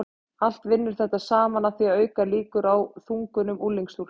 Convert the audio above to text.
allt vinnur þetta saman að því að auka líkur á þungunum unglingsstúlkna